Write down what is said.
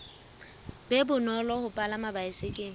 be bonolo ho palama baesekele